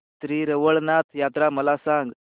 श्री रवळनाथ यात्रा मला सांग